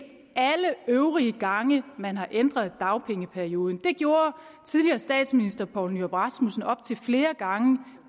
alle øvrige gange man har ændret dagpengeperioden det gjorde tidligere statsminister poul nyrup rasmussen op til flere gange